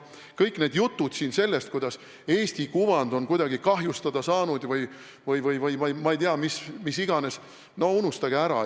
Kõik need jutud siin sellest, et Eesti kuvand on kuidagi kahjustada saanud või ma ei tea, mis iganes – no unustage ära!